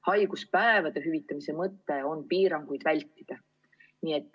Haiguspäevade hüvitamise mõte on piiranguid vältida.